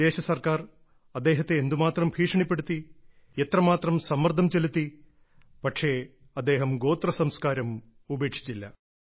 വിദേശ സർക്കാർ അദ്ദേഹത്തെ എന്ത് മാത്രം ഭീഷണിപ്പെടുത്തി എത്രമാത്രം സമ്മർദ്ദം ചെലുത്തി പക്ഷേ അദ്ദേഹം ഗോത്ര സംസ്കാരം ഉപേക്ഷിച്ചില്ല